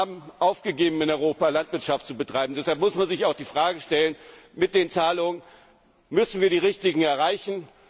Mio. Bauern haben aufgegeben, in Europa Landwirtschaft zu betreiben, deshalb muss man sich auch die Frage stellen, ob wir mit den Zahlungen die Richtigen erreichen.